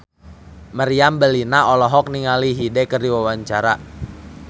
Meriam Bellina olohok ningali Hyde keur diwawancara